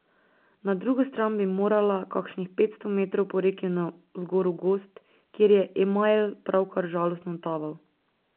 Na drugo stran bi morala, kakšnih petsto metrov po reki navzgor v gozd, kjer je Emajl pravkar žalostno taval.